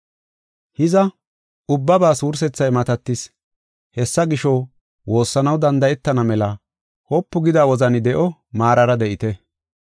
Hiza, ubbabaas wursethay matatis. Hessa gisho, woossanaw danda7etana mela wopu gida wozani de7o; maarara de7ite.